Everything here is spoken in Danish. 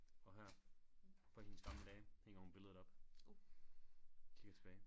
Og her på hendes gamle dage hænger hun billedet op kigger tilbage